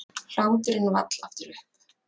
Hláturinn vall aftur upp.